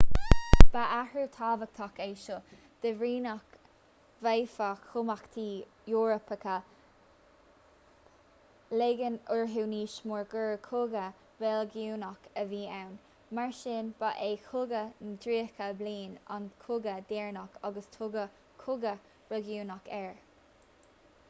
ba athrú tábhachtach é seo de bhrí nach bhféadfadh cumhachtaí eorpacha ligean orthu níos mó gur cogadh reiligiúnach a bhí ann mar sin ba é cogadh na dtríocha bliain an cogadh deireanach ar tugadh cogadh reiligiúnach air